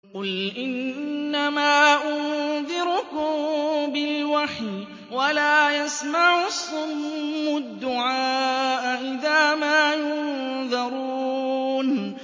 قُلْ إِنَّمَا أُنذِرُكُم بِالْوَحْيِ ۚ وَلَا يَسْمَعُ الصُّمُّ الدُّعَاءَ إِذَا مَا يُنذَرُونَ